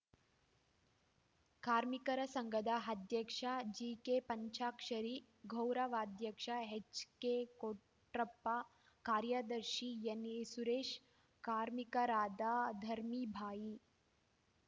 ಕಾರ್ಮಿಕರ ಸಂಘದ ಅಧ್ಯಕ್ಷ ಜಿಕೆ ಪಂಚಾಕ್ಷರಿ ಗೌರವಾಧ್ಯಕ್ಷ ಎಚ್‌ಕೆ ಕೊಟ್ರಪ್ಪ ಕಾರ್ಯದರ್ಶಿ ಎನ್‌ಇ ಸುರೇಶ್‌ ಕಾರ್ಮಿಕರಾದ ಧರ್ಮೀಬಾಯಿ